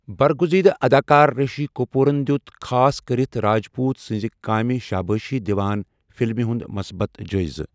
برگُزیدٕ اداکار رشی کپوٗرَن دِیُت خاص کٔرِتھ راجپوٗت سنزِ كامہِ شابٲشی دِوان فلمہِ ہُنٛد مثبت جٲیِزٕ۔